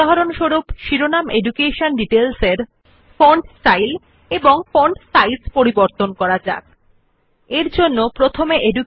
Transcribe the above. উদাহরণস্বরূপ আসুন শিরোনাম শিক্ষা বিবরণ একটি ভিন্ন ফন্ট স্টাইল এবং ফন্ট সাইজ করা For example let us give the heading education details a different font style and font size